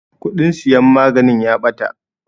Kuɗin siyan maganin ya ɓata.